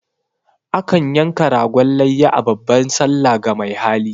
A kan yanka ragon layya a babban sallah ga mai hali.